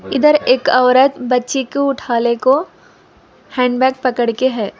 इधर एक औरत बच्चे को उठा ले को हैंड बैग पकड़ के है।